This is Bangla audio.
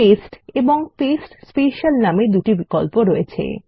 পেস্ট এবং পাস্তে স্পেশাল নামে দুটি বিকল্প রয়েছে